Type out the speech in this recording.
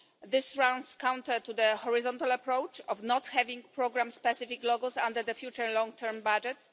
This runs counter to the horizontal approach of not having programme-specific logos under the future long-term budget.